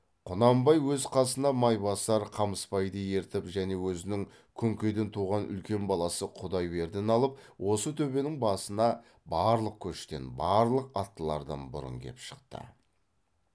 құнанбай өз қасына майбасар қамысбайды ертіп және өзінің күнкеден туған үлкен баласы құдайбердіні алып осы төбенің басына барлық көштен барлық аттылардан бұрын кеп шықты